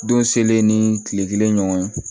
Don selen ni kile kelen ɲɔgɔn ye